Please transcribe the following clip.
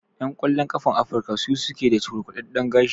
Ƴan ƙwallon ƙafan Afrika su suke da cukurkudaɗɗen gashi.